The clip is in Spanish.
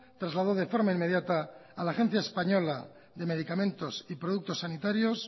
trasladó de forma inmediata a la agencia española de medicamentos y productos sanitarios